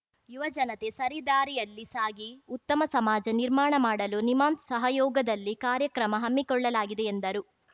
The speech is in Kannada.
ಯುವಜನತೆ ಸರಿದಾರಿಯಲ್ಲಿ ಸಾಗಿ ಉತ್ತಮ ಸಮಾಜ ನಿರ್ಮಾಣ ಮಾಡಲು ನಿಮ್ಹಾನ್ಸ್‌ ಸಹಯೋಗದಲ್ಲಿ ಕಾರ್ಯಕ್ರಮ ಹಮ್ಮಿಕೊಳ್ಳಲಾಗಿದೆ ಎಂದರು